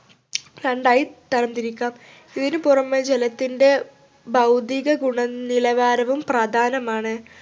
രണ്ടായി തരംതിരിക്കാം ഇതിനു പുറമെ ജലത്തിൻ്റെ ഭൗതികഗുണനിലവാരവും പ്രധാനമാണ്